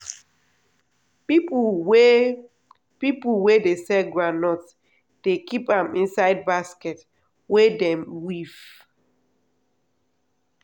people wey people wey dey sell groundnut dey keep am inside basket wey dem weave.